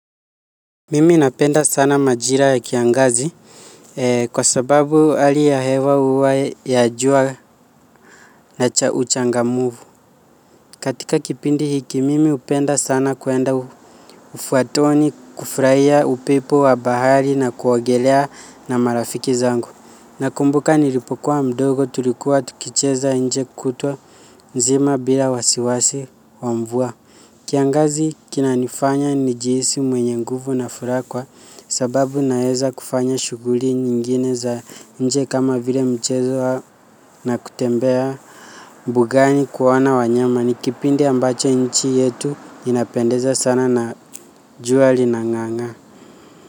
Mimi napenda sana majira ya kiangazi kwa sababu hali ya hewa huwa ya jua na cha uchangamfu. Katika kipindi hiki mimi hupenda sana kuenda ufuatoni kufurahia upepo wa bahari na kuogelea na marafiki zangu. Nakumbuka nilipo kua mdogo tulikuwa tukicheza nje kutwa nzima bila wasiwasi wa mvua. Kiangazi kinanifanya nijihisi mwenye nguvu na furaha kwa sababu naeza kufanya shughuli nyingine za nje kama vile mchezo na kutembea mbugani kuona wanyama ni kipindi ambacho nchi yetu inapendeza sana na juali lina ng'aa ng'aa.